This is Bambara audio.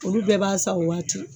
Olu bɛɛ b'a san o waati